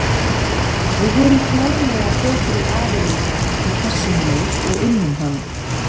Við vorum klárlega betri aðilinn í þessum leik og unnum hann.